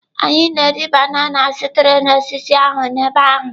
Anyị na-eri banana sitere na osisi ahụ n'ebe ahụ.